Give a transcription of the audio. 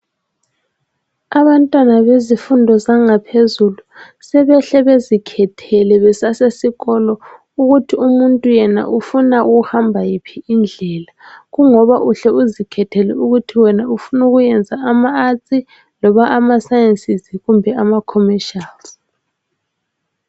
Abantwana bezifundo zangaphezulu sebehle bezikhethele besasesikolo ukuthi umuntu yena ufuna ukuhamba yiphi indlela, kungoba uhle uzikhethele ukuthi wena ufuna ukwenza ama arts, loba ama sciences kumbe ama commercials.